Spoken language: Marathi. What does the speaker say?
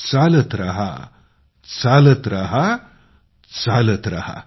चालत राहा चालत राहा चालत राहा